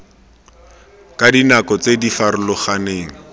ka dinako tse di farologaneng